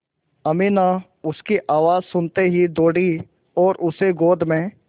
अमीना उसकी आवाज़ सुनते ही दौड़ी और उसे गोद में